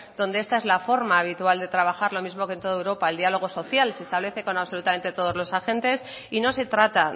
donde esta es la forma habitual de trabajar lo mismo que en toda europa el diálogo social se establece con absolutamente todos los agentes y no se trata